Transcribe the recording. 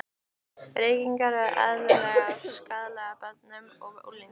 Reykingar eru eðlilegar skaðlegar börnum og unglingum.